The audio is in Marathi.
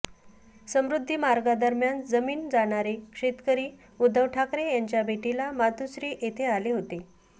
समृद्धी मार्गादरम्यान जमिन जाणारे शेतकरी उद्धव ठाकरे यांच्या भेटीला मातोश्री येथे आले होते